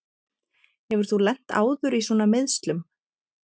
Hefur þú lent áður í svona meiðslum?